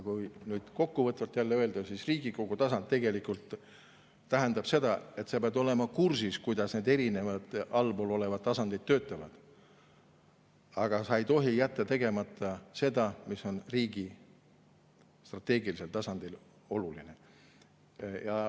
Kui kokkuvõtvalt öelda, siis Riigikogu tasand tähendab seda, et sa pead olema kursis, kuidas need allpool olevad erinevad tasandid töötavad, aga sa ei tohi jätta tegemata seda, mis on riigi strateegilisel tasandil oluline.